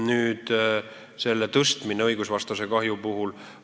Nüüd on arutusel selle pikendamine õigusvastase teoga tekitatud kahju puhul.